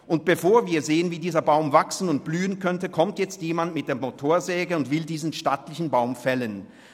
Und bevor wir sehen, wie dieser Baum wachsen und blühen könnte, kommt jetzt jemand mit der Motorsäge und will diesen stattlichen Baum fällen.